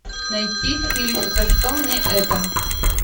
найти фильм за что мне это